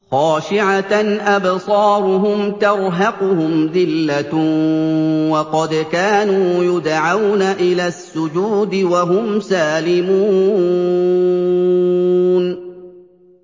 خَاشِعَةً أَبْصَارُهُمْ تَرْهَقُهُمْ ذِلَّةٌ ۖ وَقَدْ كَانُوا يُدْعَوْنَ إِلَى السُّجُودِ وَهُمْ سَالِمُونَ